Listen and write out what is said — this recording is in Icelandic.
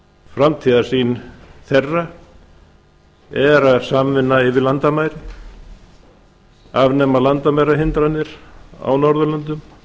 framtíðarsýn þeirra er samvinna yfir landamæri að afnema landamærahindranir á norðurlöndum